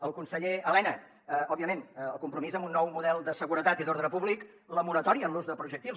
al conseller elena òbviament el compromís amb un nou model de seguretat i d’ordre públic la moratòria en l’ús de projectils